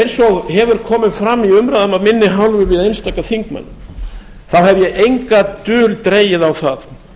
eins og hefur komið fram í umræðum af minni hálfu við einstaka þingmenn hef ég enga dul dregið á það